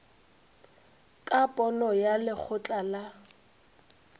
ka pono ya lekgotla la